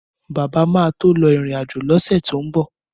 Bàbá máa tó lọ ìrìn-àjò lọ́sẹ̀ tó ńbọ̀